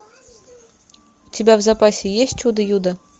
у тебя в запасе есть чудо юдо